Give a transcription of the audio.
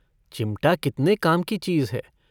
चिमटा कितने काम की चीज़ है।